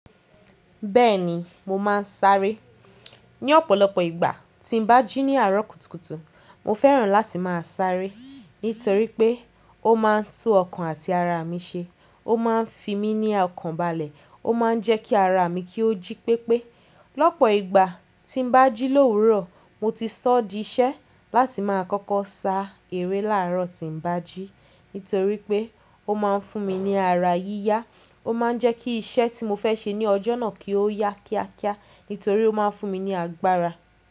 Bẹ́ẹ̀ni mo máa ń sáré. Ní ọ̀pọ̀lọpọ̀ ìgbà tí n bá jí ní àárọ̀ kùtùkùtù, mo fẹ́ràn láti máa sáré nítorí pé ó máa ń tú ọkàn àti ara mi ṣe. Ó máa ń fi mi ní ọkàn bàlẹ̀, ó máa ń jẹ́ kí ara mi kí ó jí pépé. Lọ́pọ̀ ìgbà tí n bá jí lóhùn urọ, mo ti sọ di iṣẹ́ láti máa kọ́kọ́ sá ère láàárọ̀ tí n bá jí nítorí pé ó máa ń fún mi ní ara yíyá. Ó máa ń jẹ́ kí iṣẹ́ tí mo fẹ́ ṣe ní ọjọ́ náà kí ó yá kíákíá nítorí ó máa ń fún mi ní agbára.